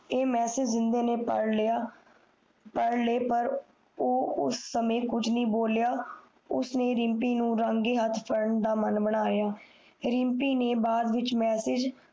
ਏ message ਜਿੰਨਦੇ ਨੇ ਪੜ੍ਹ ਲਿਆ ਪਰ ਉਸ ਸਮਯ ਕੁਜ ਨਹੀਂ ਬੋਲਿਆ ਉਸਨੇ ਰਿਮਪੀ ਨੂੰ ਫੜਣ ਦਾ ਮਾਨ ਬਨਾਯਾ ਰਿਮਪੀ ਨੇ ਬਾਦ ਵਿਚ ਮੈਸਜ